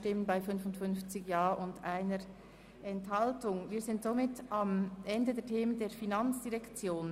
Abänderungsantrag/Planungserklärung SP-JUSO-PSA [Wyrsch, Jegenstorf] / glp [Schöni-Affolter, Bremgarten] – Nr. 5)